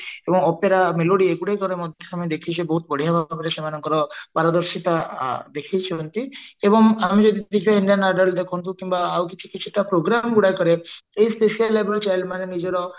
ଏବଂ opera melody ଅଗୁଡିକ ରେ ମଧ୍ୟ ଆମେ ଦେଖିଛେ ବହୁଇଟ ବଢିଆ ଭାବରେ ମାନେ ସେମାନଙ୍କର ପାରଦର୍ଶିତା ଦେଖାଇଛନ୍ତି ଏବଂ ଆମେ ଯଦି ଦେଖିବା indian idol ଦେଖନ୍ତୁ କିମ୍ବା ଆଉ କିଛି କିଛି ଟା program ଗୁଡାକରେ ଏଇ specially abled child ମାନେ ନିଜର